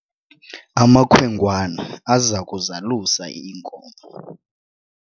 amakhwenkwana aza kuzalusa iinkomo